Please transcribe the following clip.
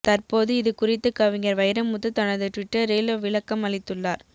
தற்போது இது குறித்து கவிஞர் வைரமுத்து தனது டுவிட்டரில் விளக்கம் அளித்துள்ளார்